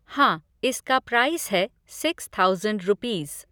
हाँ, इसका प्राइस है सिक्स थाऊज़ेंड रुपीज़।